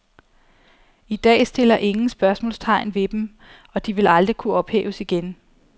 I dag stiller ingen spørgsmålstegn ved dem og de ville aldrig kunne ophæves igen.